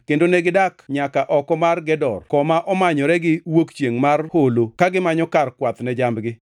kendo negidak nyaka oko mar Gedor koma omanyore gi wuok chiengʼ mar holo ka gimanyo kar kwath ne jambgi.